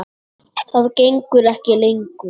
Það gengur ekki lengur.